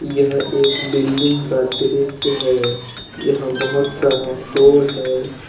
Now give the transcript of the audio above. यह एक बिल्डिंग का दृश्य है। यहां बहुत सारा फ्लोर है।